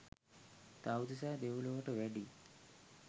තව්තිසා දෙව්ලොවට වැඩි